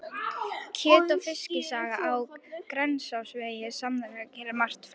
Kjöt- og Fiskisaga á Grensásvegi sameinar þetta og margt fleira.